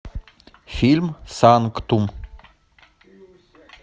фильм санктум